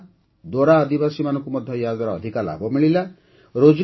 କୋଣ୍ଡା ଦୋରା ଆଦିବାସୀମାନଙ୍କୁ ମଧ୍ୟ ୟା'ଦ୍ୱାରା ଅଧିକା ଲାଭ ମିଳିଲା